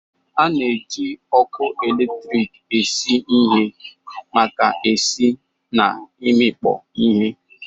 A na-eji ọkụ eletrik esi ihe maka esi na imikpo ihe.